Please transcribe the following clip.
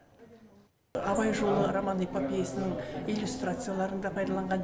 абай жолы роман эпопеясының иллюстрацияларын да пайдаланған